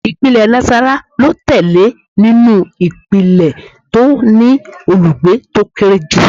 Ìpínlẹ̀ Nassarawa ló tẹ̀lé nínú ìpínlẹ̀ tó ní olùgbé tó kéré jù